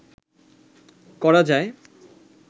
করা যায়